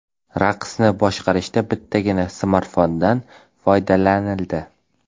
Raqsni boshqarishda bittagina smartfondan foydalanildi.